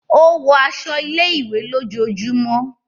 O wọ aṣọ ilé-ìwé lójoojúmó.